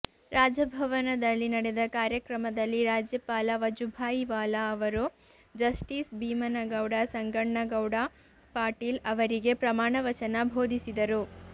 ರಾಜಭವನದಲ್ಲಿ ನಡೆದ ಕಾರ್ಯಕ್ರಮದಲ್ಲಿ ರಾಜ್ಯಪಾಲ ವಜುಭಾಯಿ ವಾಲಾ ಅವರು ಜಸ್ಟೀಸ್ ಭೀಮನಗೌಡ ಸಂಗಣ್ಣಗೌಡ ಪಾಟೀಲ್ ಅವರಿಗೆ ಪ್ರಮಾಣ ವಚನ ಬೋಧಿಸಿದರು